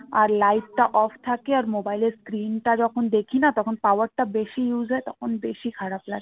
আর light টা off থাকে mobile এর screen টা যখন দেখি না তখন power টা বেশি use হয় তখন বেশি খারাপ লাগে